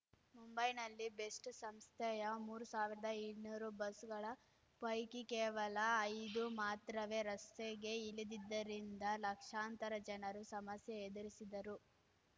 ಮುಂಬೈನಲ್ಲಿ ಬೆಸ್ಟ್ ಸಂಸ್ಥೆಯ ಮೂರ್ ಸಾವಿರ್ದಾ ಇನ್ನೂರು ಬಸ್‌ಗಳ ಪೈಕಿ ಕೇವಲ ಐದು ಮಾತ್ರವೇ ರಸ್ತೆಗೆ ಇಳಿದಿದ್ದರಿಂದ ಲಕ್ಷಾಂತರ ಜನರು ಸಮಸ್ಯೆ ಎದುರಿಸಿದರು